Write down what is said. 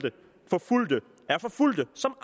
forfulgte er forfulgte som